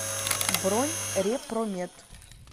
бронь репромед